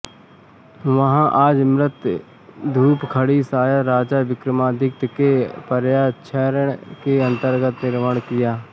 वहाँ आज मृत धूपघड़ी शायद राजा विक्रमादित्य के पर्यवेक्षण के अंतर्गत निर्माण किया है